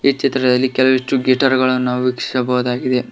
ಈ ಚಿತ್ರದಲ್ಲಿ ಕೆಲವಿಷ್ಟು ಗಿಟರ್ ಗಳನ್ನು ನಾವು ವೀಕ್ಷಿಸಬಹುದಾಗಿದೆ.